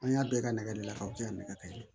An y'a bɛɛ ka nɛgɛ de la k'aw cɛ nɛgɛ ka yɛlɛ